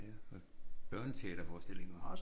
Ja og børneteaterforestillinger